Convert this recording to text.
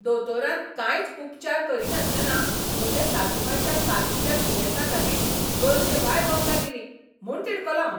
दोतोरान कांयच उपचार करिनासतना म्हजे सासूमांयच्या कातीच्या दुयेंसा खातीर गरजेभायर वखदां दिलीं म्हूण तिडकलों हांव.